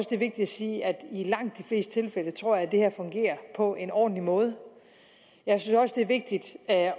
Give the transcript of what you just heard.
sige at i langt de fleste tilfælde tror jeg det her fungerer på en ordentlig måde jeg synes også det er vigtigt at